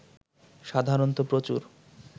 সাধারণত প্রচুর